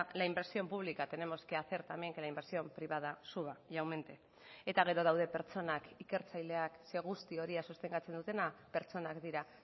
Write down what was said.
la inversión pública tenemos que hacer también que la inversión privada suba y aumente eta gero daude pertsonak ikertzaileak ze guzti hori sostengatzen dutena pertsonak dira